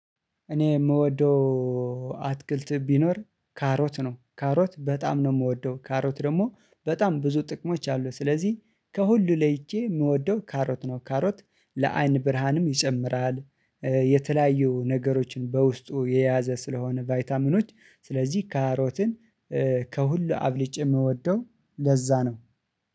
እኔ የምወደው አትክልት ቢኖር ካሮት ነው ካሮት በጣም ነው የምወደው ካሮት ደግሞ በጣም ብዙ ጥቅሞች አሉት ስለዚህ ከሁሉ ለይቼ የምወደው ካሮት ነው። ካሮት ለአይን ብርሃንም ይጨምራል። የተለያዩ ነገሮችን በውስጡ የያዘ ስለሆነ ቫይታሚኖች ስለዚህ ካሮትን ከሁሉ አብልጬ የምወደው ለዛ ነው።